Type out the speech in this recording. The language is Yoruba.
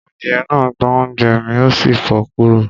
Adìyẹ náà gbá oúnjẹ́ mi, ó sì fò kúrò